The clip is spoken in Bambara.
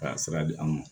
Ka sira di an ma